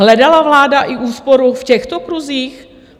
Hledala vláda i úsporu v těchto kruzích?